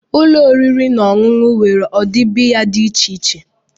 Ụlọ oriri na ọṅụṅụ nwere ụdị biya dị iche iche.